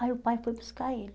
Aí o pai foi buscar ele.